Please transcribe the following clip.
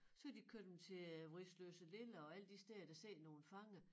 Så kan de køre dem til øh Vridsløselille og alle de steder der sidder nogle fanger